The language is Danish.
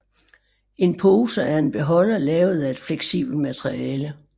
En pose er en beholder lavet af et fleksibelt materiale